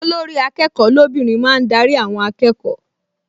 Olórí-akẹ́kọ̀ọ́ lóbìnrin máa ń darí àwọn akẹ́kọ̀ọ